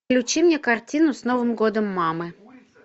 включи мне картину с новым годом мамы